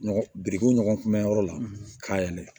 Ɲɔgɔn birikiw ɲɔgɔn kunbɛn yɔrɔ la k'a yɛlɛ